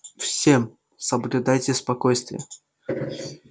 всем соблюдайте спокойствие